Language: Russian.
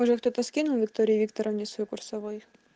может кто-то скинул виктории викторовне свою курсовой